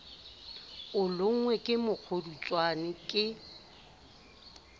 o lonngwe ke mokgodutswane ke